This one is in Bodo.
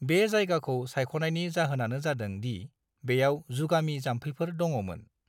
बे जायगाखौ सायख'नायनि जाहोनानो जादों दि बेयाव जुगामि जाम्फैफोर दङमोन।